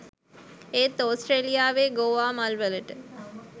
ඒත් ඕස්ටේලියාවේ ගෝවා මල්වලට